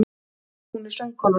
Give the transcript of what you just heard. Jú, hún er söngkonan